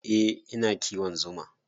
Eh, ina kiwon zuma.